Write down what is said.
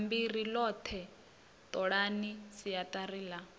bammbiri ḽoṱhe ṱolani siaṱari ḽa